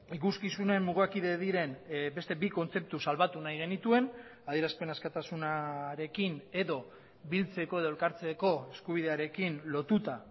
ikuskizunen mugakide diren beste bi kontzeptu salbatu nahi genituen adierazpen askatasunarekin edo biltzeko edo elkartzeko eskubidearekin lotuta